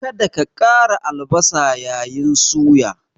Kada ka ƙara albasa yayin suya!